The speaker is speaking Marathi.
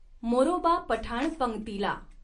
मोरोबा पठाण पंक्तीला।